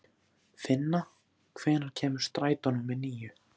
Finna, hvenær kemur strætó númer níu?